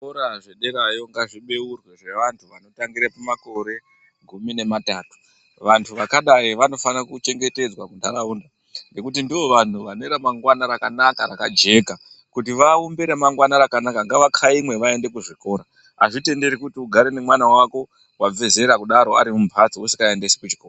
Zvikora zvederayo ngazvibeurwe zvevanhu vanotangira paramore gumi nematatu vantu vakadai vanofanira kuchengetedzwa muntaraunda nekuti ndivo vanhu vane ramangwani rakajeka kuti vaumbe ramangwani rakajeka ngavakaimwe vaende kuzvikora.